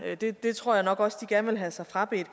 det det tror jeg nok også de gerne vil have sig frabedt